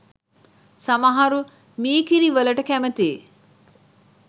සමහරු මීකිරිවලට කැමතියි.